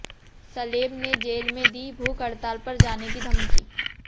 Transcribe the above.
सलेम ने जेल में दी भूख हड़ताल पर जाने की धमकी